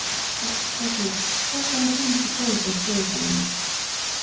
Æsgerður, bókaðu hring í golf á þriðjudaginn.